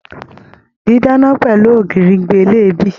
Didana pẹlú ògiri gbé leebí.